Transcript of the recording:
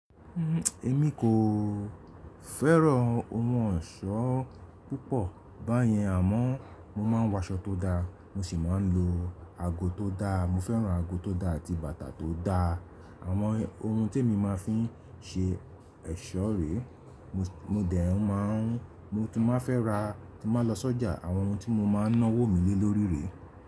Èmi kò fẹ́ràn ohun eṣọ́ púpọ̀ báyẹn àmọ́ mo máa ń wọ aṣọ tó da, mo sì máa ń lo ago tó da. Mo fẹ́ràn ago tó da àti bàtà tó da. Àwọn ohun tí mo máa fi ń ṣe ẹ̀ṣọ́ rè, mo dẹ̀ ń máà ń mo tún má fẹ́ ra, tí máa lọ sọ́jà àwọn ohun tí mo máa ń ná wò mí lé lórí rè.